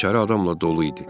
İçəri adamla dolu idi.